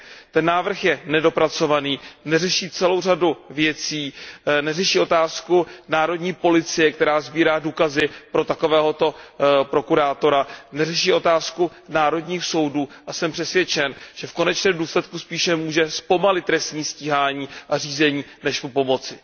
Ten návrh je nedopracovaný, neřeší celou řadu věcí, neřeší otázku národní policie, která sbírá důkazy pro takovéhoto prokurátora, neřeší otázku národních soudů a jsem přesvědčen, že v konečném důsledku spíše může zpomalit trestní stíhání a řízení, než mu pomoci.